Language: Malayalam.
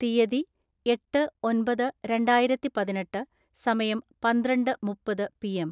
തീയതി, എട്ട് ഒൻപത് രണ്ടായിരത്തിപതിനെട്ട്, സമയം, പന്ത്രണ്ട് മുപ്പത് പി എം